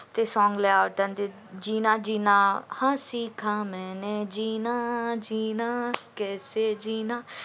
ते song लय आवडत जिना जिना हा सिखा मेने जिना जिना कैसे जिना जिना